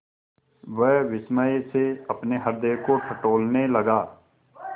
वह विस्मय से अपने हृदय को टटोलने लगा